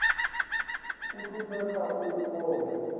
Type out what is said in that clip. u thusa kha u vhona